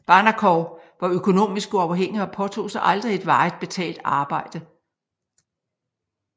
Barnekow var økonomisk uafhængig og påtog sig aldrig et varigt betalt arbejde